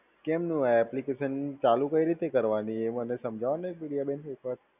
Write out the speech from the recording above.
કેમનું આ એપ્લિકેશન ચાલુ કઈ રીતે કરવાની, એ મને સમજાઓને બેન, એક વાર.